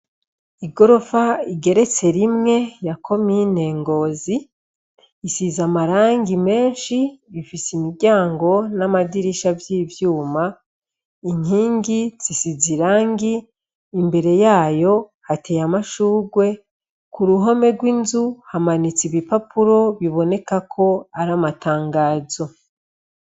Igorofa igeretse rimwe ya komine ngozi isize amarangi meshi ifise imiryango n'amadirisha vy'ivyuma. Inkingi zisize irangi imbere yayo hateye amashurwe kuruhome gw'inzu hamanitse ibipapuro bibonekako ar'amatangazo.